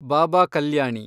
ಬಾಬಾ ಕಲ್ಯಾಣಿ